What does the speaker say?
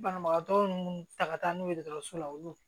Banabagatɔ minnu ta ka ca n'u ye dɔgɔtɔrɔso la olu